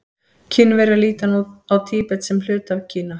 Kínverjar líta nú á Tíbet sem hluta af Kína.